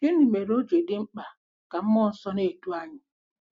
Gịnị mere o ji dị mkpa ka mmụọ nsọ na-edu anyị?